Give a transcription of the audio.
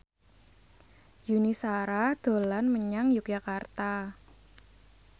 Yuni Shara dolan menyang Yogyakarta